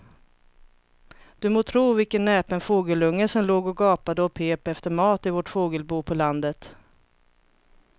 Du må tro vilken näpen fågelunge som låg och gapade och pep efter mat i vårt fågelbo på landet.